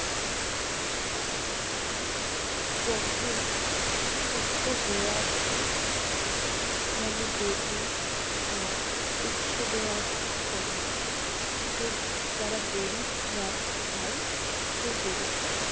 যখন, শুক্তো হয়ে আসে মানে বেগুন আর উচ্ছে দেওয়ার সময় য~ যারা বড়ি রা~ খায় সেই বড়িটা